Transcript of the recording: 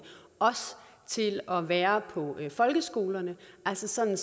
til at være på folkeskolerne altså sådan